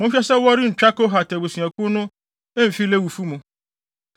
“Monhwɛ sɛ wɔrentwa Kohatfo abusuakuw no mfi Lewifo mu.